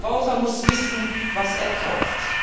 Der Verbraucher muss wissen, was er kauft.